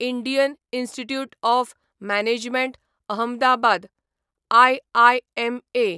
Indian Institute of Management Ahmedabad IIMA